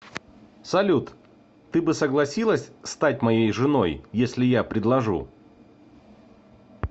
салют ты бы согласилась стать моей женой если я предложу